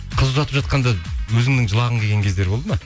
қыз ұзатып жатқанда өзіңнің жылағың келген кездер болды ма